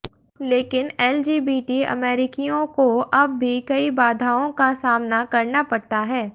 लेकिन एलजीबीटी अमेरिकियों को अब भी कई बाधाओं का सामना करना पड़ता है